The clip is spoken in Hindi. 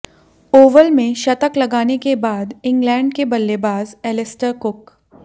ओवल में शतक लगाने के बाद इंगलैंड के बल्लेबाज एलिस्टर कुक